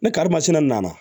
Ne karimasinɛ nana